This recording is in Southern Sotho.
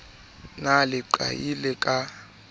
na le leqai le ka